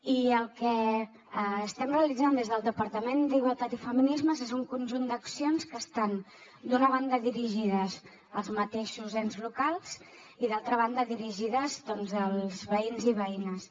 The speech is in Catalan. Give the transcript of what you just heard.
i el que estem realitzant des del departament d’igualtat i feminismes és un conjunt d’accions que estan d’una banda dirigides als mateixos ens locals i d’altra banda dirigides als veïns i veïnes